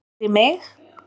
Fyrir mig?